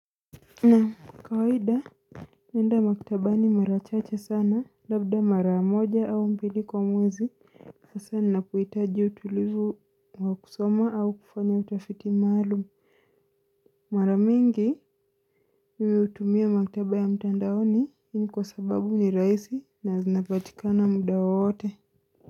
Na kawaida nenda maktaba ni mara chacha sana labda mara moja au mbili kwa mwezi hasa ninapo itaji utulivu wa kusoma au kufanya utafiti maalum Mara mingi nimiutumia maktaba ya mtandaoni ini kwa sababu ni raisi na zinapatika na muda wote.